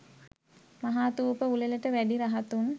මහාථූප උළෙලට වැඩි රහතුන්